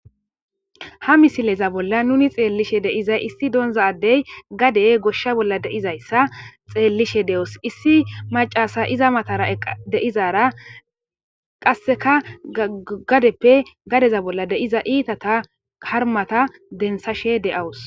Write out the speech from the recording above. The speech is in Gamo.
ha misileza bolla nuni xeellishe dei'zay issi doonza addey gade goshsha bolla deizayssa xeellishe de7os issi macasa iza matara eqa deizara qasseka gadeppe gadeza bolla deiza iitata karmata densashe de7awus